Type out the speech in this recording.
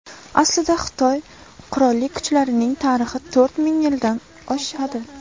Aslida, Xitoy qurolli kuchlarining tarixi to‘rt ming yildan oshadi.